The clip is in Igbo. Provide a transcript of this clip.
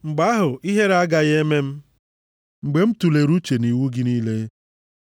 Mgbe ahụ, ihere agaghị eme m mgbe m tulere uche nʼiwu gị niile.